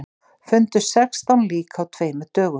Fundu sextán lík á tveimur dögum